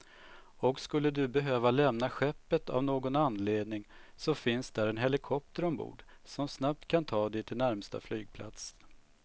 Och skulle du behöva lämna skeppet av någon anledning så finns där en helikopter ombord, som snabbt kan ta dig till närmsta flygplats.